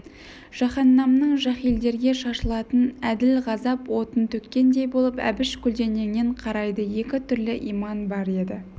жаһаннамның жаһилдерге шашылатын әділ ғазап отын төккендей болды әбіш көлденеңнен қарайды екі түрлі иман бар еді